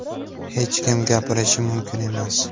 Hech kim gapirishi mumkin emas.